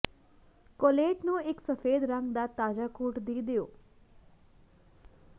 correlate ਨੂੰ ਇੱਕ ਸਫੈਦ ਰੰਗ ਦਾ ਤਾਜਾ ਕੋਟ ਦੇ ਦਿਓ